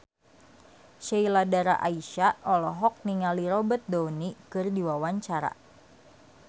Sheila Dara Aisha olohok ningali Robert Downey keur diwawancara